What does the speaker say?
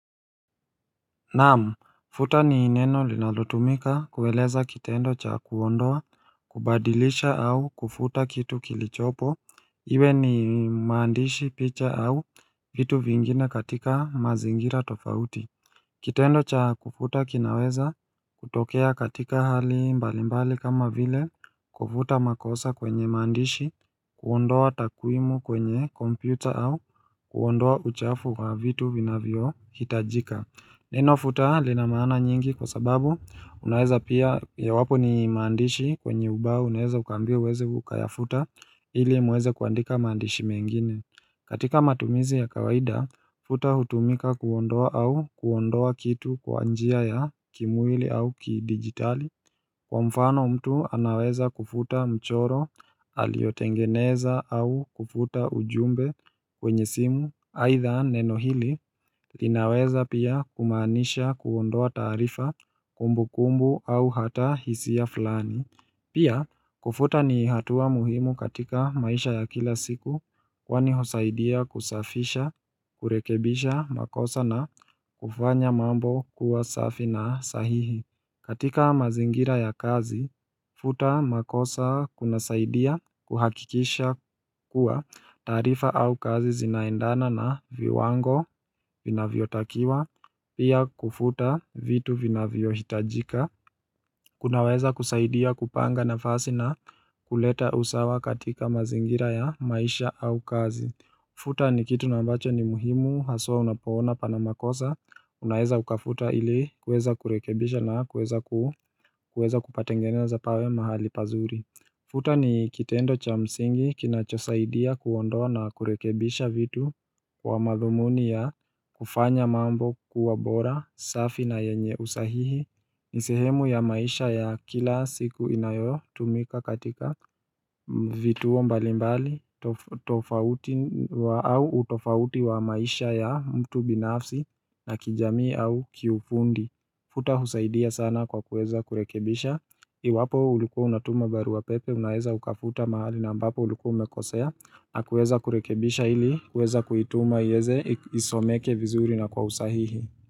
Naam, futa ni neno linalotumika kueleza kitendo cha kuondoa, kubadilisha au kufuta kitu kilichopo, iwe ni maandishi picha au vitu vingine katika mazingira tofauti Kitendo cha kufuta kinaweza kutokea katika hali mbali mbali kama vile kufuta makosa kwenye maandishi, kuondoa takwamu kwenye kompyuta au kuondoa uchafu wa vitu vinavyo hitajika Neno futa linamana nyingi kwa sababu unaweza pia yawapo ni maandishi kwenye ubao unaweza ukaambiwa uweze ukayafuta ili muweze kuandika maandishi mengine katika matumizi ya kawaida futa hutumika kuondoa au kuondoa kitu kwa njia ya kimwili au kidigitali Kwa mfano mtu anaweza kufuta mchoro aliotengeneza au kufuta ujumbe kwenye simu aitha neno hili linaweza pia kumaanisha kuondoa taarifa kumbukumbu au hata hisia fulani Pia kufuta ni hatua muhimu katika maisha ya kila siku kwani husaidia kusafisha kurekebisha makosa na kufanya mambo kuwa safi na sahihi katika mazingira ya kazi, futa makosa kunasaidia kuhakikisha kuwa taarifa au kazi zinaendana na viwango vinavyotakiwa, pia kufuta vitu vinavyohitajika. Kunaweza kusaidia kupanga nafasi na kuleta usawa katika mazingira ya maisha au kazi. Futa ni kitu na ambacho ni muhimu, haswaa unapoona panamakosa, unaeza ukafuta ili kuweza kurekebisha na kuweza ku kuwezakupatengeneza pawe mahali pazuri Futa ni kitendo cha msingi, kinachosaidia kuondoa na kurekebisha vitu kwa madhumuni ya kufanya mambo kuwa bora, safi na yenye usahihi Nisihemu ya maisha ya kila siku inayotumika katika vituo mbalimbali tofauti wa au utofauti wa maisha ya mtu binafsi na kijamii au kiufundi Futa husaidia sana kwa kuweza kurekebisha Iwapo ulikuwa unatuma barua pepe unaweza ukafuta mahali na mbapo ulikuwa umekosea na kuweza kurekebisha ili kuweza kuituma ienze isomeke vizuri na kwa usahihi.